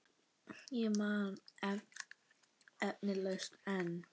Og man eflaust enn.